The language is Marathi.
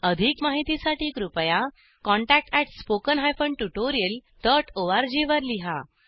अधिक माहितीसाठी कृपया contact at spoken hyphen tutorial dot ORG वर लिहा